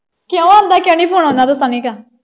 ਕਿਉਂ ਆਂਦਾ ਕਿਉਂ ਨੀ phone ਓਹਨਾ ਦਾ ਸਨੀ ਕਾ।